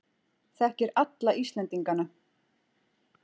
Þekkir alla Íslendingana.